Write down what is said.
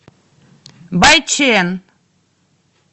байчэн